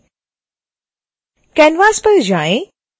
canvas पर वापस जाएं